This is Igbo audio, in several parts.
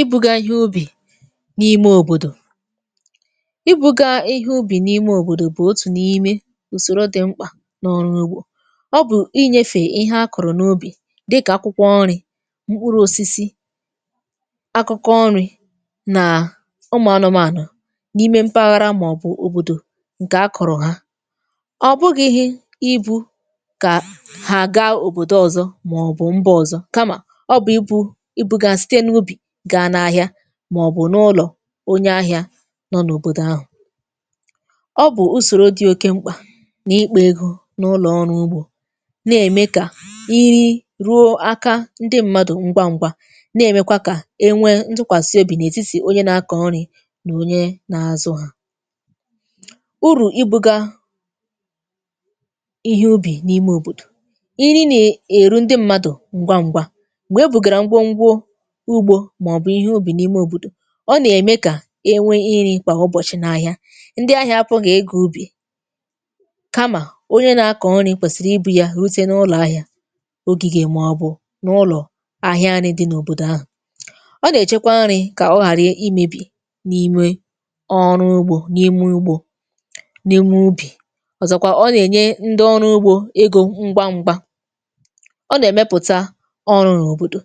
Ị bụgà ihe ubì n’ime òbòdò Ị bụ̀gà ihe ubì n’imė òbòdò bụ̀ otù n’imė ùsòro dị mkpà n’ọrụ ugbȯ. Ọ bụ̀ inyėfè ihe akọ̀rọ̀ n’ubì dịkà akwụkwọ nri̇, mkpuru̇ osisi, akụ̇kọ nri̇ nà ụmụ̀ anụmànụ, n’ime mpàghàrà màọbụ̀ òbòdò ǹkè akọ̀rọ̀ ha. Ọ bụgighi ịbụ̇ kà ha gaa òbòdò ọzọ̇ màọbụ̀ mba ọzọ̇, kamà ọbụ̀ ibu ibu̇gà site n'ubi ga n’ahịa, màọbụ̀ n’ụlọ̀ onye ahịa nọ n’òbòdò ahụ̀. Ọ bụ̀ usòrò dị̇ oke m̀kpà n’ikpȧ egȯ n’ụlọ̀ ọrụ ugbȯ, na-eme kà iri ruò aka ndị mmadụ̀ ngwa ṅ̇gwȧ, na-emekwa kà enwe ntụkwàsị obì nè etítì onye na-akọ̀ nrị̀ nà onye na-azụ hȧ. Urù ibuga ihe ubì n’ime òbòdò: iri na-eru ndị mmadụ̀ ngwa ṅ̀gwà, mgbe ebụ̀gàrà ngwo ngwo ugbo, maọbu ihe ubi n'ime obodo, ọ nà-ème kà enwe iri̇ kwà ụbọ̀chị n’ahịa, ndị ahịa apụ gị̇ ịga ubì kamà onye na-akọ̀ nri̇ kwèsìrì ibu̇ yȧ rụtė n’ụlọ̀ ahịà n’ụlọ̀ ahịa nri di n’òbòdò ahụ̀. Ọ nà-èchekwa nri̇ kà ọ ghàrị imėbì n’imė ọrụ ugbȯ n’ime ugbȯ n’ime ubì, ọ̀zọ̀kwa ọ nà-ènye ndị ọrụ ugbȯ egȯ ṅgwa ṅgwa. Ọ nà-èmepùta ọrụ̇ n’òbòdò,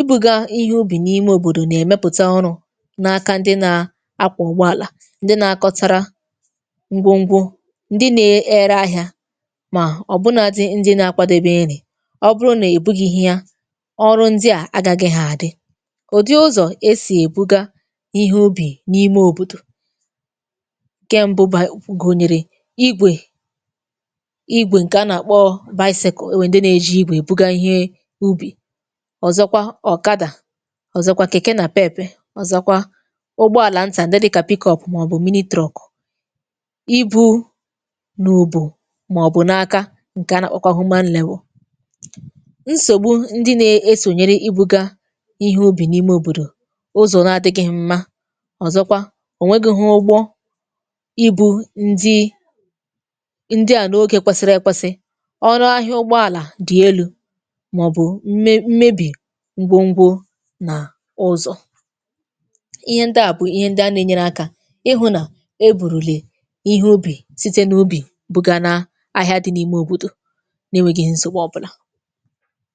ibuga ihe ubi n'ime obodo na emepụta ọrụ n’aka ndị na-akwọ ụ̀gbọàlà, ndị na-akọtara ngwo ngwo, ndị na-ere ahị̇ȧ, mà ọ̀bụnȧdị ndị na-akwadobe ire, ọbụrụ nà-èbughihia ọrụ ndị à agagịghị àdị. Ụdị ụzọ̀ e si èbuga ihe ubì n’ime òbòdò: ǹke mbụ ba gụnyèrè igwè, igwè ǹkè a nà-àkpọ, enwe ndị na-eji igwè ebuga ihe ubì, ọzọkwa ọkada, ọzọkwa keke napep, ọzọkwa ụgbọ̇àlà ntà ndị dịkà, màọbụ̀, ibu̇ nà ùbò màọbụ̀ n’aka ǹkè anàkpọ̀kwa. Nsògbu ndị na-esònyere ibu̇gȧ ihe ubì n’ime òbòdò: ụzọ̀ n’adịgịghị mma, ọ̀zọkwa ònwegị̇hụ ụgbọ ibu̇ ndị ndị à n’ogè kwesiri ekwesi, ọrụ ahịa ụgbọ̇àlà dị elu̇ màọbụ̀ mme mmebi̇ ngwo ngwo na ụzọ. Ihe ndị a bụ̀ ihe ndị a na-enyere akȧ ịhụ̇ nà e bụ̀rụ̀lị̀ ihe ubì site n’ubì bụ̀gà nà ahịa dị n’ime òbòdò nà-enwegehị̇ nsogbù ọbụlà.